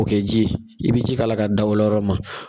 O kɛ ji ye i be ji la ka dawa yɔrɔ ma